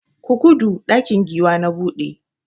Ku gudu!ɗakin giwa na buɗe!